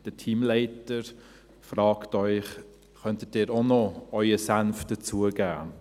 Der Teamleiter fragt sie: «Könnten Sie auch noch Ihren Senf dazugeben?».